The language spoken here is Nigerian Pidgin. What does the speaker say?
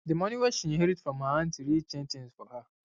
d moni wey she inherit from her anty really change tins for her